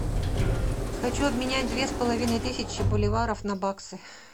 хочу обменять две с половиной тысячи боливаров на баксы